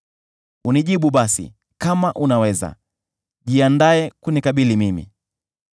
Unijibu basi, kama unaweza; jiandae kunikabili mimi.